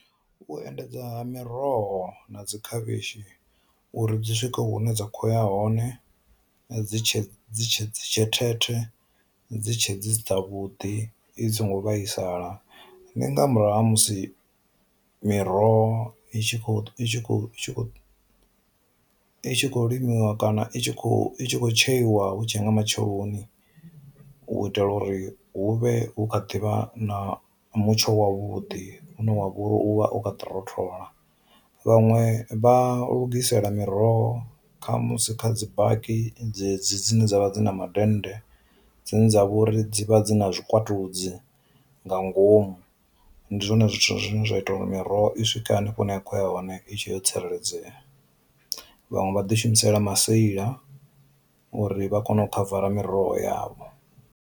U endedza ha miroho na dzi khavhishi uri dzi swike hune dza khoya hone dzi tshe dzi tshe dzi tshe thethe dzi tshe dzi dzavhuḓi i songo vhaisala, ndi nga murahu ha musi miroho i tshi kho i tshi khou limiwa kana i tshi kho i tshi khou tsheiwa hu tshe nga matsheloni u itela uri hu vhe hu kha ḓivha na mutsho wa vhuḓi une wa vhori u vha o kha ḓi rothola. Vhaṅwe vha lugisela miroho kha musi kha dzi baki dze dzi dzine dzavha dzi na ma dende dzine dza vha uri dzivha dzina zwikwatudzi nga ngomu, ndi zwone zwithu zwine zwa ita uri miroho i swike hanefho hune a khou ya hone i tshe yo tsireledzea. Vhaṅwe vha ḓi shumisela maseila uri vha kone u khavara miroho yavho.